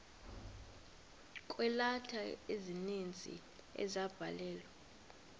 kweeleta ezininzi ezabhalelwa